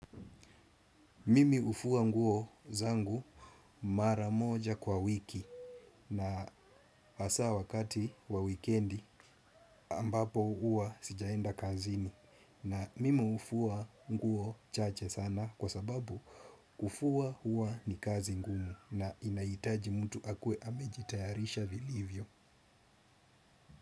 Mimi ufua nguo zangu mara moja kwa wiki na hasaa wakati wa wikendi ambapo uwa sijaenda kazini na mimi ufua nguo chache sana kwa sababu ufua uwa ni kazi ngumu na inaitaji mtu akue amejitayarisha vilivyo.